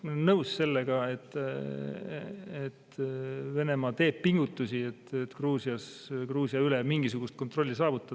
Ma olen nõus, et Venemaa teeb pingutusi, et Gruusia üle mingisugust kontrolli saavutada.